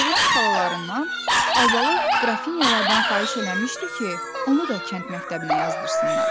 Oğlun xalalarından Albalı qrafinyalardan xahiş eləmişdi ki, onu da kənd məktəbinə yazdırsınlar.